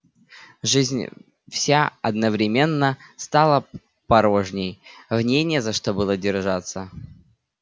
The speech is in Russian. жизнь вся одновременно стала порожней в ней не за что было держаться